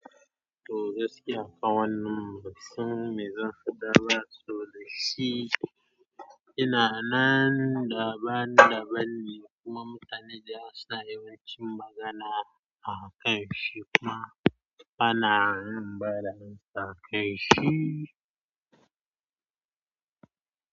Toh gaskiya kanwannan bansan mai zanfa da ba sabo da shi. Ina nan da ban da ban ne kuma mutane da yawa suna yawancin magana a kanshi kuma bana yin bada amsa a kanshi.